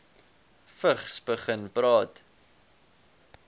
vigs begin praat